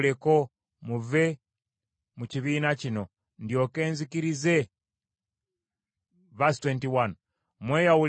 “Mweyawuleko muve mu kibiina kino ndyoke nkizikirize embagirawo.”